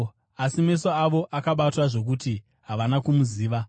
asi meso avo akabatwa zvokuti havana kumuziva.